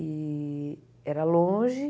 E era longe.